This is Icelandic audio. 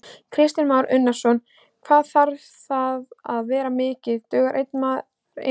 Kristján Már Unnarsson: Hvað þarf það að vera mikið, dugar einn maður inn?